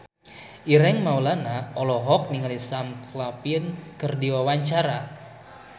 Ireng Maulana olohok ningali Sam Claflin keur diwawancara